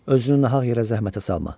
Özünü nahaq yerə zəhmətə salma.